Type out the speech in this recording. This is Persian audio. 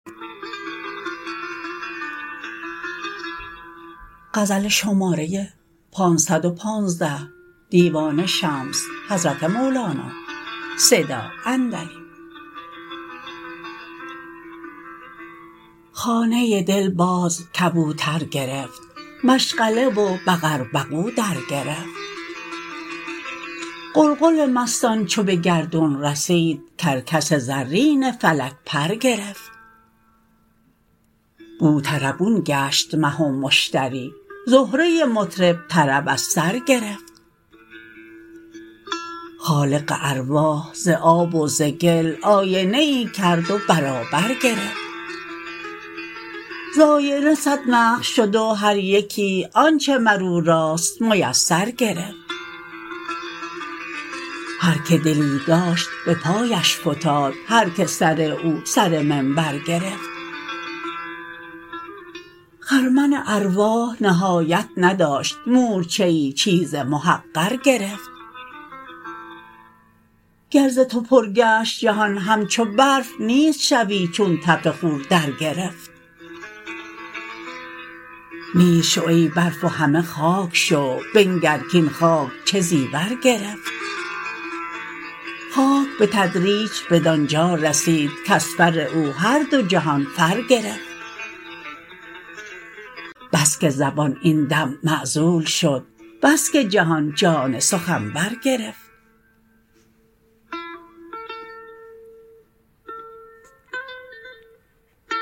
خانه دل باز کبوتر گرفت مشغله و بقر بقو درگرفت غلغل مستان چو به گردون رسید کرکس زرین فلک پر گرفت بوطربون گشت مه و مشتری زهره مطرب طرب از سر گرفت خالق ارواح ز آب و ز گل آینه ای کرد و برابر گرفت ز آینه صد نقش شد و هر یکی آنچ مر او راست میسر گرفت هر که دلی داشت به پایش فتاد هر که سر او سر منبر گرفت خرمن ارواح نهایت نداشت مورچه ای چیز محقر گرفت گر ز تو پر گشت جهان همچو برف نیست شوی چون تف خور درگرفت نیست شو ای برف و همه خاک شو بنگر کاین خاک چه زیور گرفت خاک به تدریج بدان جا رسید کز فر او هر دو جهان فر گرفت بس که زبان این دم معزول شد بس که جهان جان سخنور گرفت